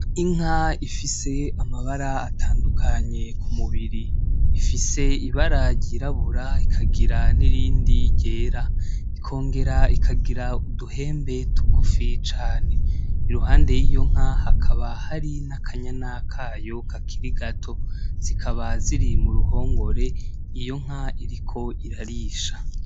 Inka ifise amabara atandukanye k'umubiri. Ifise ibara ryirabura n'irindi ryera .Ikongera ikagira uduhembe tugufi cane , iruhande yiyo nka hakaba hari n'akanyana kayo kakiri gato , zikaba ziri mu ruhongore iyo nka ikaba iriko irarisha.